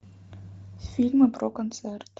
фильмы про концерт